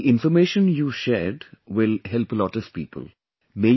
I think the information you shared will help a lot of people